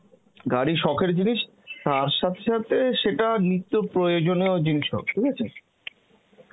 গাড়ি শখের জিনিস, তার সাথে সাথে সেটা নিত্য প্রয়োজনেও জিনিসও ঠিক আছে